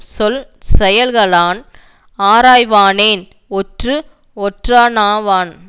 சொல் செயல்களான் ஆராய்வானேன் ஒற்று ஒற்றானாவான்